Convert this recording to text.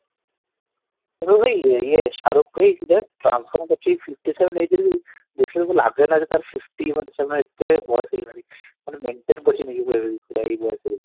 ଇଏ Shahrukh fifty-seven age ରେ ବି ଦେଖି ଯେମତି ଲାଗେନା ଯେ ତାର fifty ମାନେ ଏତେ ବୟସ ହେଇଗଲାଣି ମାନେ maintain କରୁଛନ୍ତି ପୁରା ଏଇ ବୟସରେ ବି